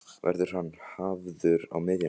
Verður hann hafður á miðjunni?